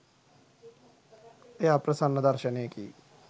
එය අප්‍රසන්න දර්ශනයකි.